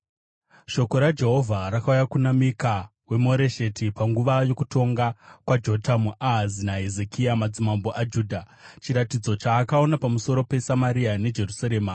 Shoko raJehovha rakauya kuna Mika weMoresheti panguva yokutonga kwaJotamu, Ahazi naHezekia, madzimambo aJudha, chiratidzo chaakaona pamusoro peSamaria neJerusarema.